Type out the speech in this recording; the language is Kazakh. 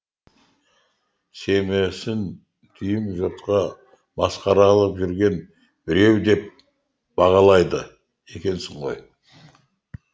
семьясын дүйім жұртқа масқара қылып жүрген біреу деп бағалайды екенсің ғой